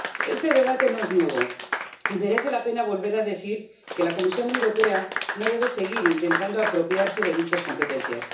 Este debate no es nuevo, y merece la pena volver a decir que la Comisión Europea no debe seguir intentando apropiarse de dichas competencias.